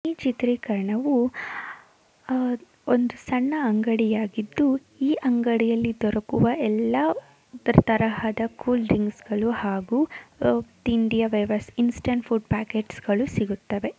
ಈ ಚಿತ್ರೀಕರಣವು ಒಂದು ಸಣ್ಣ ಅಂಗಡಿಯಾಗಿದ್ದು ಈ ಅಂಗಡಿ ಅಲ್ಲಿ ದೊರಕುವ ಎಲ್ಲ ತರಹದ ಕೂಲ್ ಡ್ರಿಂಕ್ಸ್ಗಳು ಹಾಗು ಇನ್ಸ್ಟಂಟ್ ಫುಡ್ ಡ್ರಿಂಕ್ಸ್ ಸಿಗುತ್ತದೆ.